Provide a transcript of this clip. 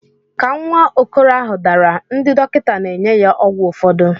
Ka nwa okoro ahụ dara, ndị dọkịta na-enye ya ọgwụ ụfọdụ.